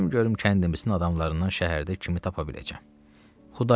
Gedim görüm kəndimizin adamlarından şəhərdə kimi tapa biləcəm.